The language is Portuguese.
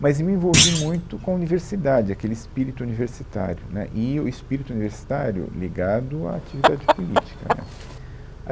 Mas me envolvi muito com a universidade, aquele espírito universitário, né, e o espírito universitário ligado à atividade política, né.